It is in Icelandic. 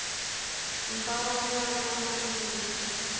En bara á meðan hann mígur.